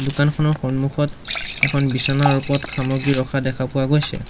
দোকানখনৰ সন্মুখত এখন বিছনাৰ ওপৰত সামগ্ৰী ৰখা দেখা পোৱা গৈছে।